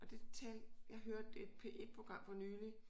Og det talte jeg hørte et P1 program for nylig